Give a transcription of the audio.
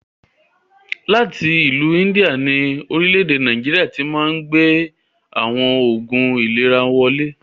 Láti ìlú India ni Orílẹ̀ èdè Nàìjíríà tíì Máà ń gbé àwọn Oògún ìlera wọn wọlé